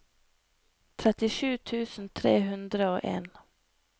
trettisju tusen tre hundre og en